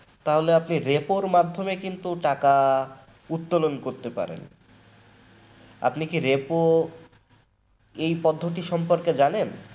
তাহলে কিন্তু আপনি Repo র মধ্যেও টাকা উত্তোলন করতে পারেন আপনি কি Repo এই পদ্ধতির সম্পর্কে জানেন?